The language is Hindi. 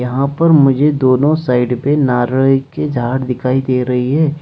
यहां पर मुझे दोनों साइड पे नारई की झाड़ दिखाई दे रही है।